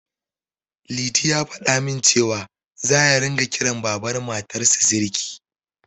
Liti ya faɗa min cewa, za ya ringa kiran Baban Matarsa Siriki